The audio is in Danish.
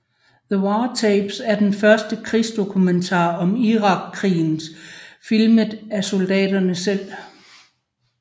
The War Tapes er den første krigsdokumentar om Irakkrigen filmet af soldaterne selv